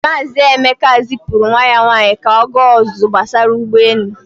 Maazị Emeka zipụrụ nwa ya nwaanyị ka ọ gaa ọzụzụ gbasara ụgbọelu.